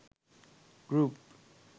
group